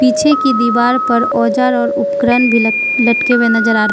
पीछे की दीवार पर औजार और उपकरण भी ल लटके हुए नजर आ--